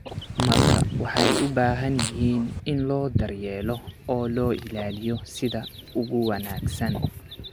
marka waxay u baahan yihiin in loo daryeelo oo loo ilaaliyo sida ugu wanaagsan.